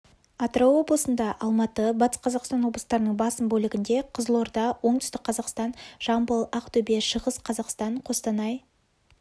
атырау облысында алматы батыс қазақстан облыстарының басым бөлігінде қызылорда оңтүстік қазақстан жамбыл ақтөбе шығыс қазақстан қостанай